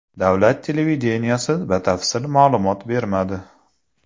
Davlat televideniyesi batafsil ma’lumot bermadi.